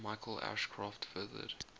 michael ashcroft furthered